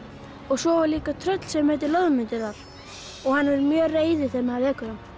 svo er líka tröll sem heitir Loðmundur þar og hann er mjög reiður þegar maður vekur hann